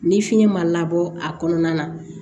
Ni fiɲɛ ma labɔ a kɔnɔna na